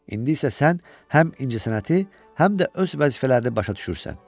İndi isə sən həm incəsənəti, həm də öz vəzifələrini başa düşürsən.